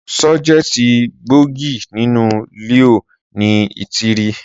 Sọjẹti gbógì ninu liọ ní ìtírí.